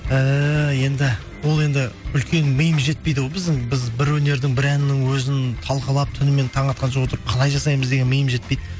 ііі енді ол енді үлкен миымыз жетпейді ғой біздің біз бір өнердің бір әннің өзін талқылап түнімен таң атқанша отырып қалай жасаймыз деген миым жетпейді